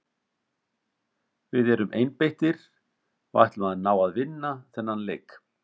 Við erum einbeittir og ætlum að ná að vinna þennan leik.